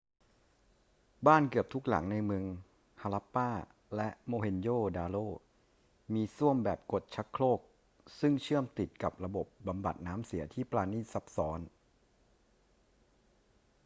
บ้านเกือบทุกหลังในเมือง harappa และ mohenjo-daro มีส้วมแบบกดชักโครกซึ่งเชื่อมติดกับระบบบำบัดน้ำเสียที่ปราณีตซับซ้อน